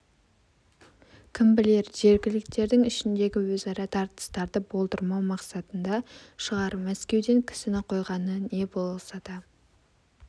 кім білер жергіліктілердің ішіндегі өзара тартыстарды болдырмау мақсатында шығар мәскеуден кісіні қойғаны не болса да